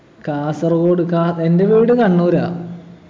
കാസര്‍ഗോഡ് കാ എൻ്റെ വീട് കണ്ണൂരാ